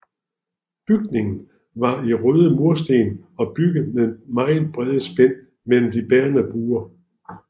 Bygningen var i røde mursten og bygget med meget brede spænd mellem de bærende mure